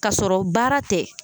Ka sɔrɔ baara tɛ.